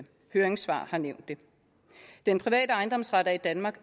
høringssvarene den private ejendomsret er i danmark